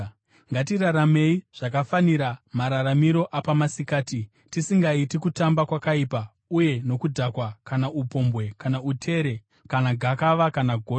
Ngatiraramei zvakafanira mararamiro apamasikati, tisingaiti kutamba kwakaipa uye nokudhakwa, kana upombwe, kana utere, kana gakava kana godo.